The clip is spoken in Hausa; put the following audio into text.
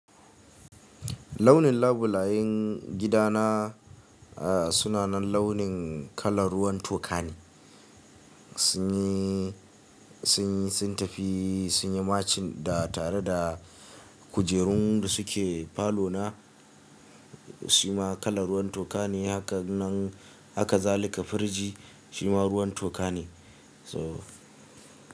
Launin labulayen gidana, suna nan launin kalar ruwan toka ne. Sun yi, sun yi, sun tafi, sun yi matching da tare da kujerun da suke falo na, shima kalar ruwan toka ne. Haka nan haka zalika firji shima ruwan toka ne. So.